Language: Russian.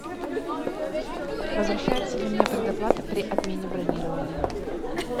возвращается ли мне предоплата при отмене бронирования